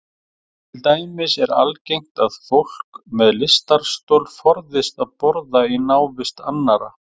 Til dæmis er algengt að fólk með lystarstol forðist að borða í návist annarra.